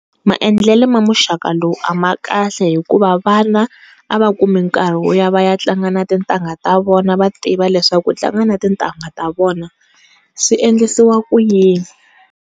Maendlele ma muxaka lowu a ma kahle hikuva vana a va kumi nkarhi wo ya va ya tlanga na tintangha ta vona va tiva leswaku ku tlanga ni tintangha ta vona, swi endlisiwa ku yini.